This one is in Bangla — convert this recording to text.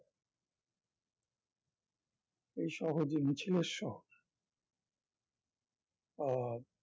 এই শহর যে মিছিলের শহর আহ